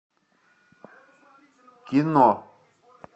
кино